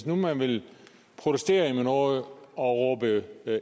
nu vil protestere over noget og råbe